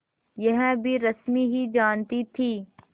यह भी रश्मि ही जानती थी